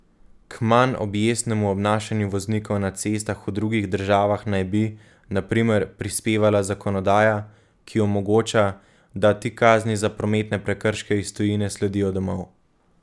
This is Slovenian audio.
K manj objestnemu obnašanju voznikov na cestah v drugih državah naj bi, na primer, prispevala zakonodaja, ki omogoča, da ti kazni za prometne prekrške iz tujine sledijo domov.